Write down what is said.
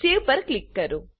હવે સેવ પર ક્લિક કરો